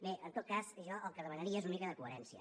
bé en tot cas jo el que demanaria és una mica de coherència